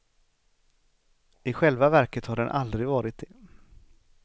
I själva verket har den aldrig varit det.